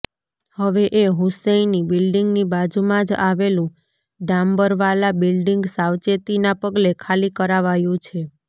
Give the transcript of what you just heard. હવે એ હુસૈની બિલ્ડિંગની બાજુમાં જ આવેલું ડાંબરવાલા બિલ્ડિંગ સાવચેતીના પગલે ખાલી કરાવાયું છે